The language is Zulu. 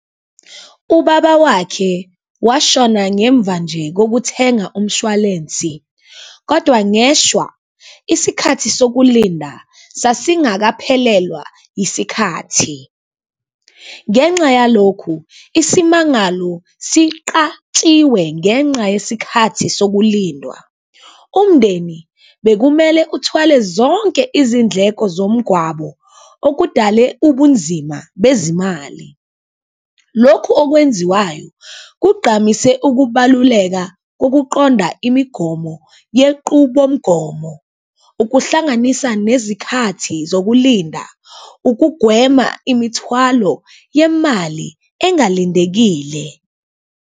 Ubaba wakhe washona ngemva nje kokuthenga umshwalensi. Kodwa ngeshwa, isikhathi sokulinda sasingakaphelelwa yisikhathi. Ngenxa yalokhu, isimangalo siqatshiwe ngenxa yesikhathi sokulinda. Umndeni bekumele uthwale zonke izindleko zomgwabo, okudale ubunzima bezimali. Lokhu okwenziwayo kugqamise ukubaluleka kokuqonda imigomo yequbomgomo, ukuhlanganisa nezikhathi zokulinda, ukugwema imithwalo yemali engalindekile.